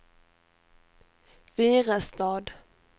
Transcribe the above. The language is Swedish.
Virestad